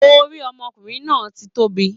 Orí ọmọkùnrin náà ti tóbi.